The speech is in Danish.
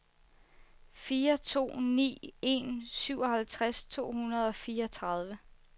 fire to ni en syvoghalvtreds to hundrede og fireogtredive